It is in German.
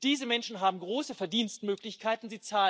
Diese Menschen haben große Verdienstmöglichkeiten.